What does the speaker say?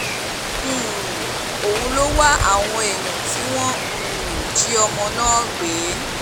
um òun ló wá àwọn èèyàn tí wọ́n um jí ọmọ náà gbé